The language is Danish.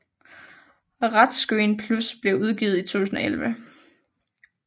RETScreen Plus blev udgivet i 2011